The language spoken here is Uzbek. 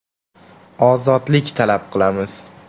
Ozodlik talab qilamiz.